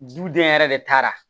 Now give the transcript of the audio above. Duden yɛrɛ de taara